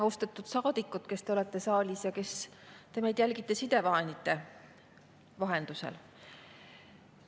Austatud saadikud, kes te olete saalis või kes te meid jälgite sidevahendite vahendusel!